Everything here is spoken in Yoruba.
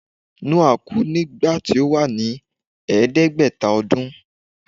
Noah kú ní gbà tó wà ní ẹ̀ẹ́dẹ́gbẹ̀ta odún